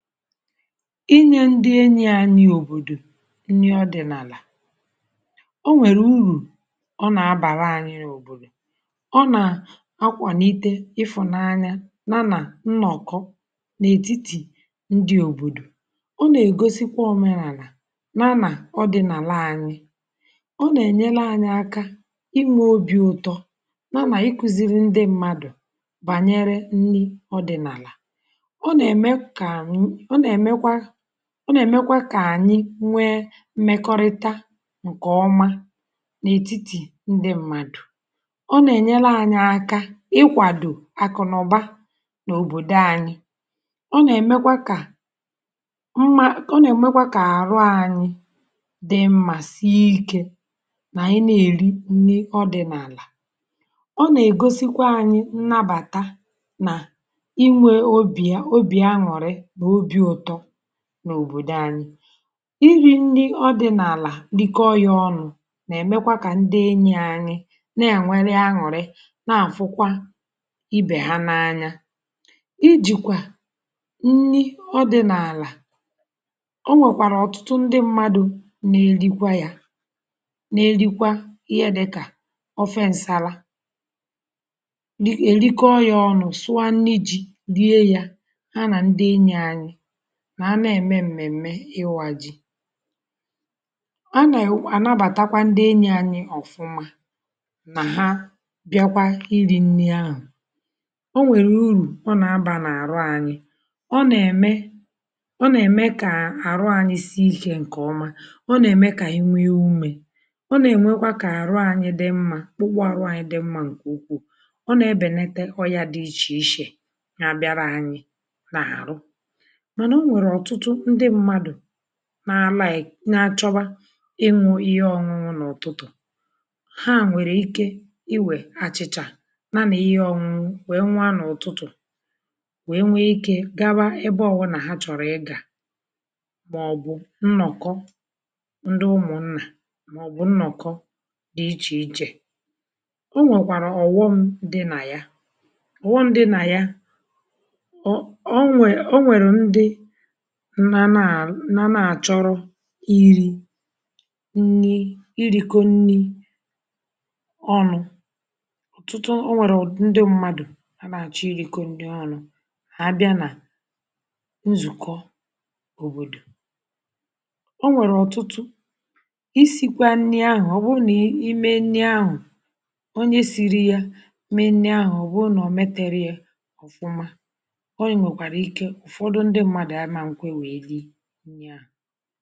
Inye ndị enyi à nà òbòdò nnyè ọdị̀nàlà, o nwèrè uru, ọ na-abàrà anyị̇ n’òbòdò. Ọ na-akwànite ịfụ̀nanya, nānā nnà ọ̀kọ n’ètitì ndị òbòdò. Ọ na-egosikwa ònwe nàlà nānā ọdị̀nàlà anyị̇. Ọ na-enyere anyị aka ime obi̇ ụ̀tọ nānā ịkụ̇ziri ndị mmadụ̀ bànyere nni ọ̀ dị̀nàlà. Ọ na-emekwa (repetition) ka ànyị nwee mmekọrịta ǹkè ọma n’ètitì ǹdị m̀madụ̀. Ọ na-enyere anyị aka ịkwàdò àkụ̀nàụ̀ba nà òbòdò anyị. Ọ na-emekwa ka (paused) mma, ọ na-emekwa ka àrụ anyị dị mma. Siikè na ị na-eri nni ọdị̀nàlà, ọ na-egosikwa anyị nnabata n’à n’òbòdò anyị. Iri ndị ọdị̀nàlà dike ọ̀ya ọnụ̇ na-emekwa ka ndị enyi anyị na-anwere añụ̀rị na àfụkwa ibè ha n’anya. Ijìkwa ndị ọdị̀nàlà, ọ nwekwara ọtụtụ ndị mmadụ na-elikwa ya, na-elikwa ihe dịkà ofeǹsala (paused) dịkili ọya ọnụ̇ sụọ nni ji rie ya. Ha na-eme m̀mèm̀me ịwọ̇ ji a na-ewè. Ànabàtakwa ndị enyi anyị ọ̀fụma na ha bịakwa iri nni ahụ̀. Ọ nwèrè uru, ọ na-abà n’àrụ anyị, ọ na-eme, ọ na-eme ka àrụ anyị si ikè ǹkè ọma. Ọ na-eme ka inwe ya ume, ọ na-enwekwa ka àrụ anyị dị mmȧ, ọgbụ àrụ anyị dị mmȧ, ǹkè ukwuù. Ọ na-ebènète ọ̀yà dị iche iche nà abịara anyị n’àrụ. Ọ nwèrè ọtụtụ ndị mmadụ̀ na alaị̀ na-achọba ịṅụ̇ ihe ọṅụṅụ. N'ọ̀tụtụ ha nwèrè ike iwe achị̇chà na ihe ọ̀ṅụṅụ wee nwa n'ọ̀tụtụ wee nwee ike gawa ebe ọgwụ̇. Nà ha chọ̀rọ̀ ịgà maọbụ nnọ̀kọ ndị ụmụ̀nà maọbụ nnọ̀kọ dị iche iche. Ọ nwekwara ọ̀wọm dị nà ya, ọ̀wọ ndị nà ya nọ na-achọrọ iri nni (paused and repetition), iri kọnni ọnụ̇. Ọtụtụ nwèrè ndị mmadụ̀ na na-àchọ iri kọnni nni ọnụ̇. Hà abịa nà nzùkọ òbòdò. Ọ nwèrè ọtụtụ isikwa nni ahụ̀, ọ bụrụ na i ime nni ahụ̀ onye siri ya mee nni ahụ̀, ọ bụrụ na ọ̀ metere ya ụ̀fụma ǹya.